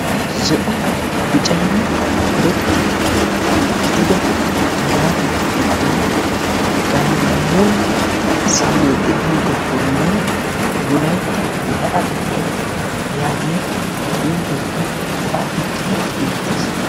Zo"o biccanne karettaa gidida malaataa giddon gaammoy siilee deiyogaa bollan wolaytta la'atettaa yaagiya xuufeekka xaafettidi beettees.